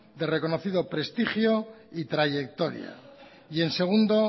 de reconocido prestigio y trayectoria y en segundo